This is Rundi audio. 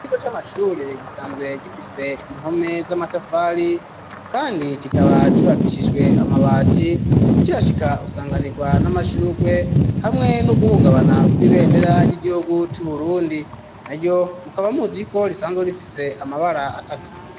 Ikigo c'ashure gisanzwe gifise impome z'amatafari kandi kikaba cubakishijwe amabati ukihashika usanganirwa n'amashurwe hamwe nuguhungabana kw'ibendera ry'igihugu cu Burundi naryo mukaba muziko risanzwe rifise amabara atatu